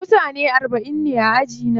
Mutane arba'in ne a ajina.